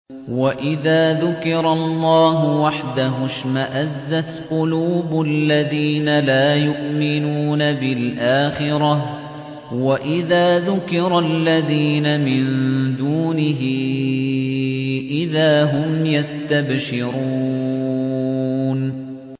وَإِذَا ذُكِرَ اللَّهُ وَحْدَهُ اشْمَأَزَّتْ قُلُوبُ الَّذِينَ لَا يُؤْمِنُونَ بِالْآخِرَةِ ۖ وَإِذَا ذُكِرَ الَّذِينَ مِن دُونِهِ إِذَا هُمْ يَسْتَبْشِرُونَ